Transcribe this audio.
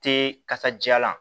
Te kasadiyalan